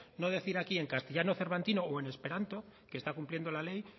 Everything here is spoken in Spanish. no decir aquí en castellano cervantino o en esperanto que está cumpliendo la ley